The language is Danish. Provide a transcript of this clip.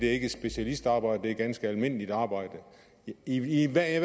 er ikke specialistarbejde det er ganske almindeligt arbejde i enhver